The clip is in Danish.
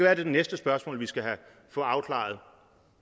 er det næste spørgsmål vi skal få afklaret